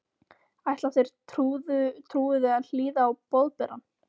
Ætla þeir trúuðu að hlýða á Boðberann?